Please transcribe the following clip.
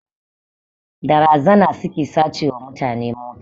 Da razana suke sace wa mutane mota